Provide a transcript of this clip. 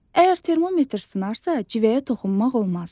Əgər termometr sınarsa, civəyə toxunmaq olmaz.